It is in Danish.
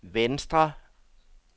venstre